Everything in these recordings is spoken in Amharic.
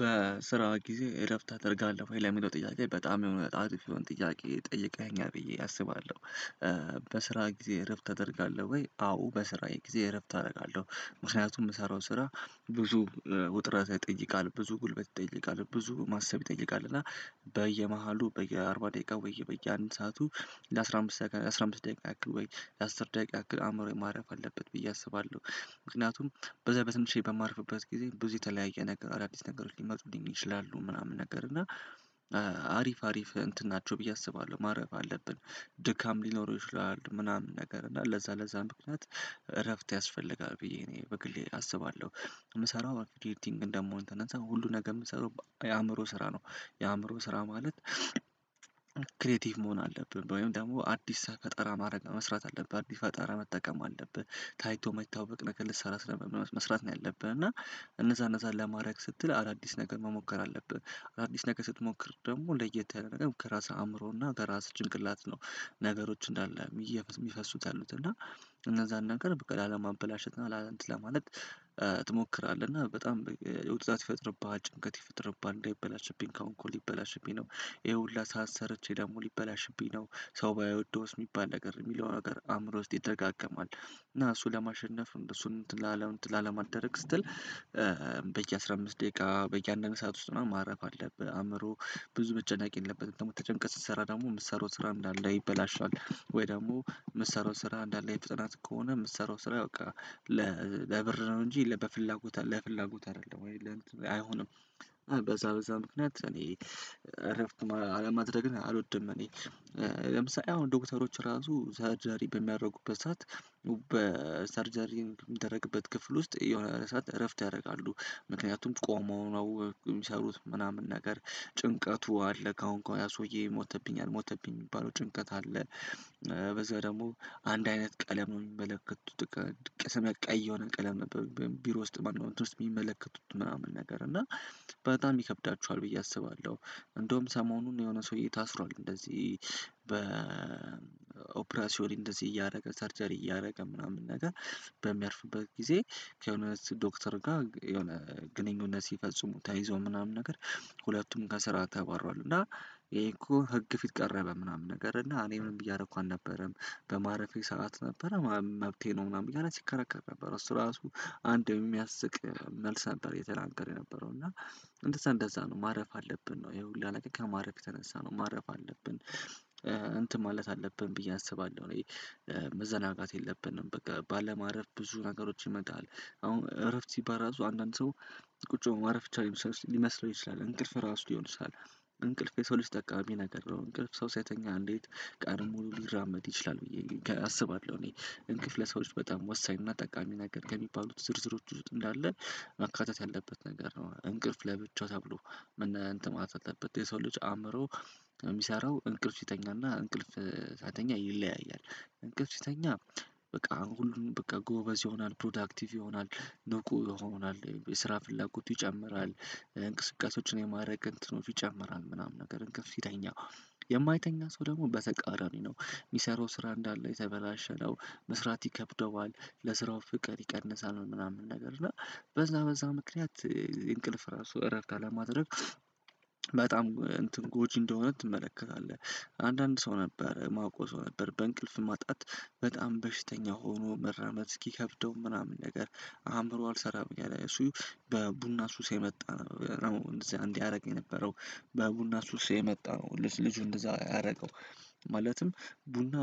በስራ ጊዜ እረፍት ታደርጋለህ ወይ? ለሚለው ጥያቄ በጣም የሆነ አሪፍ የሆነ ጥያቄ ጠይቀኸኛል ብዬ አስባለሁ። በስራ ጊዜ እረፍት አደርጋለሁ ወይ አዎ በስራዬ ጊዜ እረፍት አደርጋለሁ። ምክንያቱም ምሳራው ስራ ብዙ ውጥረት ይጠይቃል ብዙ ጉልበት ይጠይቃል ብዙ ማሰብ ይጠይቃል እና በየመሃሉ በየአርባ ደቂቃ ወይ በየአንድ ሰዓቱ። ለአሥራ አምስት ደቂቃ አስራ አምስት ደቂቃ ያክል ወይ ለአስር ደቂቃ ያክል አእምሮዬ ማረፍ አለበት ብዬ አስባለሁ። ምክንያቱም በዛ በትንሽዬ በማርፍበት ጊዜ ብዙ የተለያየ ነገር አዳዲስ ነገሮች ሊመጡልኝ ይችላሉ ምናምን ነገር እና አሪፍ አሪፍ እንትን ናቸው ብዬ አስባለሁ። ማረፍ አለብን ድካም ሊኖር ይችላል ምናምን ነገር እና ለዛ ለዛ ምክንያት እረፍት ያስፈልጋል ብዬ እኔ በግሌ አስባለሁ። የምሰራው አርክቴክቲንግ እንደመሆን የተነሳ ሁሉ ነገር የምትሰራው የአእምሮ ስራ ነው። የአእምሮ ስራ ማለት። ክሬቲቭ መሆን አለብህ ወይም ደግሞ አዲስ ሳህ ፈጠራ ማድረግ መስራት አለብህ አዲስ ፈጠራ መጠቀም አለብህ ታይቶ የማይታወቅ ነገር ልትሰራ ስለሆነ መስራት ነው ያለብህ እና። እነዛ እነዛን ለማድረግ ስትል አዳዲስ ነገር መሞከር አለብህ አዳዲስ ነገር ስትሞክር ደግሞ ለየት ያለ ነገር ከራስህ አእምሮና ከራስ ጭንቅላት ነው። ነገሮች እንዳለ የሚፈሱት ያሉት እና እነዛን ነገር በቃ ላለማበላሸት እና ላእንትን ለማለት ትሞክራለህ እና በጣም ውጥረት ይፈጥርብሃል ጭንቀት ይፈጥርብሃል እንዳይበላሽብኝ ከአሁን ከአሁን ሊበላሽብኝ ነው። ይሄ ሁሉ ሰዓት ሰርቼ ደግሞ ሊበላሽብኝ ነው ሰው ባይወደውስ የሚባል ነገር የሚለውን ነገር አእምሮ ውስጥ ይደጋገማል እና እሱ ለማሸነፍ እሱን እንትን ላለመደረግ ስትል በየአሥራ አምስት ደቂቃ በየአንድ አንድ ሰዓት ውስጥ ማረፍ አለብህ። አእምሮ ብዙ መጨነቅ የለበትም ደግሞ ተጨንቀ ስትሰራ ደግሞ የምትሰራው ስራ እንዳለ ይበላሻል ወይ ደግሞ የምትሰራው ስራ እንዳለ በፍጥነት ከሆነ የምትሰራው ስራ በቃ ለብር ነው እንጂ ለበፍላጎት ለፍላጎት አይደለም ወይ ለእንትን አይሆንም። በዛ በዛ ምክንያት እኔ እረፍት አለማድረግን አልወድም። እኔ ለምሳሌ አሁን ዶክተሮች ራሱ ሰርጀሪ በሚያደርጉበት ሰዓት በሰርጀሪ የሚደረግበት ክፍል ውስጥ የሆነ ሰዓት እረፍት ያደርጋሉ። ምክንያቱም ቆመው ነው የሚሰሩት ምናምን ነገር ጭንቀቱ አለ ካሁን እኮ ያ ሰውዬ ሞተብኛ አልሞተብኝ የሚባለው ጭንቀት አለ። በዛ ደግሞ አንድ አይነት ቀለሙን የሚመለከቱት ቀስም ቀይ የሆነ ቀለም ቢሮ ውስጥ ማነው እንትን ወስጥ የሚመለከቱት ምናምን ነገር እና በጣም ይከብዳችኋል ብዬ አስባለሁ። እንደውም ሰሞኑን የሆነ ሰውዬ ታስሯል እንደዚህ በኦፕራሲዮን ላይ እንደዚህ እያደረገ ሰርቸሪ እያደረገ ምናምን ነገር በሚያርፍበት ጊዜ ከሆነ ዶክተር ጋር የሆነ ግንኙነት ሲፈጽሙ ተይዞ ምናምን ነገር ሁለቱም ከስራ ተባሯል። እና ይሄን እኮ ህግ ፊት ቀረበ ምናምን ነገር እና እኔ ምንም እያደረኩ አልነበረም። በማረፌ ሰዓት ነበረ መብቴ ነው ምናምን እያለ ሲከራከር ነበር እሱ ራሱ አንድ የሚያስቅ መልስ ነበር የተናገረው የነበረው እና እንደዛ እንደዛ ነው ማረፍ አለብን ነው ይሄ ሁላ ነገር ከማረፍ የተነሳ ነው ማረፍ አለብን። እንትን ማለት አለብን ብዬ አስባለሁ እኔ መዘናጋት የለብንም በቃ ባለማረፍ ብዙ ነገሮች ይመጣል አሁን እረፍት ሲባል ራሱ አንዳንድ ሰው ቁጭ ብሎ ማረፍ ብቻ ሊመስለው ይችላል እንቅልፍ ራሱ ሊሆን ይችላል። እንቅልፍ የሰው ልጅ ጠቃሚ ነገር ነው እንቅልፍ ሰው ሳይተኛ እንዴት ቀኑን ሙሉ ሊራመድ ይችላል ብዬ አስባለሁ። እኔ እንቅፍ ለሰዎች በጣም ወሳኝና ጠቃሚ ነገር ከሚባሉት ዝርዝሮች ውስጥ እንዳለ መካተት ያለበት ነገር ነው። እንቅልፍ ለብቻው ተብሎ እንትን ማለት አለበት የሰው ልጅ አእምሮ የሚሰራው እንቅልፍ ሲተኛና እንቅልፍ ሳይተኛ ይለያያል። እንቅልፍ ሲተኛ በቃ ሁሉ በቃ ጎበዝ ይሆናል ፕሮዳክቲቭ ይሆናል ንቁ ይሆናል የስራ ፍላጎቱ ይጨምራል። እንቅስቃሴዎችን የማድረግ እንትኖች ይጨምራል ምናምን ነገር እንቅልፍ ሲተኛ የማይተኛ ሰው ደግሞ በተቃራኒ ነው የሚሰራው ስራ እንዳለ የተበላሸ ነው። መስራት ይከብደዋል ለስራው ፍቅር ይቀንሳል ምናምን ነገር እና በዛ በዛ ምክንያት እንቅልፍ ራሱ እረፍት አለማድረግ በጣም እንትን ጎጂ እንደሆነ ትመለከታለህ። አንዳንድ ሰው ነበር ማወቀው ሰው ነበር በእንቅልፍ ማጣት በጣም በሽተኛ ሆኖ መራመድ እስኪከብደው ምናምን ነገር አእምሮ አልሰራም እያለው እሱ በቡና ሱስ የመጣ ነው። እንደዚህ ያደርግ የነበረው በቡና ሱስ የመጣ ነው። ልጁ እንደዛ ያደርገው ማለትም ቡና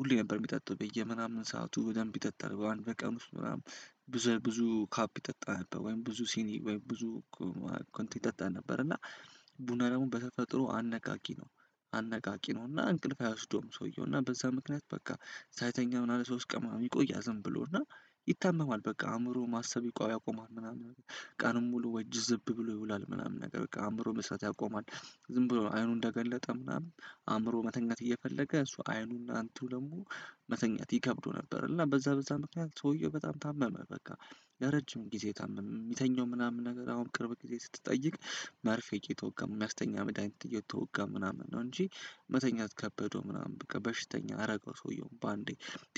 ሁሌ ነበር የሚጠጣው በየምናምን ሰዓቱ በደንብ ይጠጣል በቀን ውስጥ ምናምን ብዙ ብዙ ካፕ ይጠጣ ነበር ወይም ብዙ ሲኒ ወይም ብዙ ኮንት ይጠጣ ነበር እና ቡና ደግሞ በተፈጥሮ አነቃቂ ነው። አነቃቂ ነው እና እንቅልፍ አይወስደውም ሰውየውና በዛ ምክንያት በቃ ሳይተኛ ምናምን ሶስት ቀን ምናምን ይቆያል ዝም ብሎ እና ይታመማል በቃ አእምሮ ማሰብ ያቆማል ምናምን ቀኑን ሙሉ ወይ ጅዝብ ብሎ ይውላል ምናምን ነገር በቃ አእምሮ መስራት ያቆማል። ዝም ብሎ አይኑን እንደገለጠ ምናምን አእምሮ መተኛት እየፈለገ እሱ አይኑና አንቱ ደግሞ መተኛት ይከብደው ነበር እና በዛ በዛ ምክንያት ሰውየው በጣም ታመመ። በቃ ለረጅም ጊዜ ታመመ የሚተኘው ምናምን ነገር አሁን ቅርብ ጊዜ ስትጠይቅ መርፌ እየተወጋ መድሃኒት እየተወጋ ምናምን ነው እንጂ መተኛት ከበደው ምናምን በቃ በሽተኛ አረገው ሰውየውን በአንዴ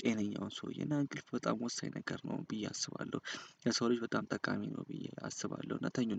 ጤነኛውን ሰውዬ እና እንቅልፍ በጣም ወሳኝ ነገር ነው ብዬ አስባለሁ። የሰው ልጅ በጣም ጠቃሚ ነው ብዬ አስባለሁ። እና ተኙ